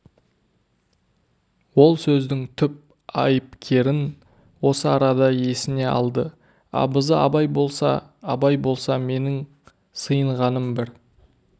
ол сөздің түп айыпкерін осы арада есіне алды абызы абай болса абай болса менің сыйынғаным бір